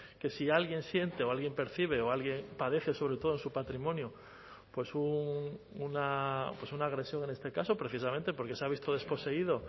que si alguien siente o alguien percibe o alguien padece sobre todo en su patrimonio una agresión en este caso precisamente porque se ha visto desposeído